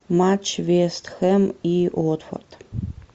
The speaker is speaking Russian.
матч вест хэм и уотфорд